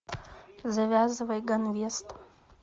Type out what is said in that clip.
завязывай ганвест